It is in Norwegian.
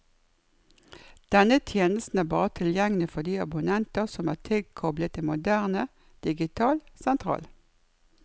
Denne tjenesten er bare tilgjengelig for de abonnenter som er tilkoblet en moderne, digital sentral.